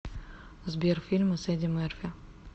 сбер фильмы с эдди мерфи